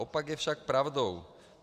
Opak je však pravdou.